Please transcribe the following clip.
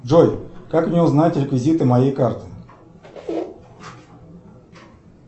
джой как мне узнать реквизиты моей карты